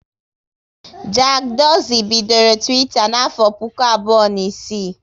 Jack Dorsey bidoro Twitter n'afọ puku abụọ na isii